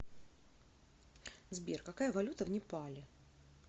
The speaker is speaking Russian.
сбер какая валюта в непале